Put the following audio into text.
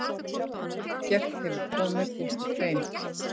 Ekkert hefur komið út úr þeim.